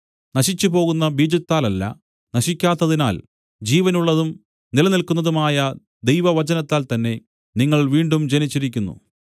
നശിച്ചുപോകുന്ന ബീജത്താലല്ല നശിക്കാത്തതിനാൽ ജീവനുള്ളതും നിലനില്ക്കുന്നതുമായ ദൈവവചനത്താൽ തന്നെ നിങ്ങൾ വീണ്ടും ജനിച്ചിരിക്കുന്നു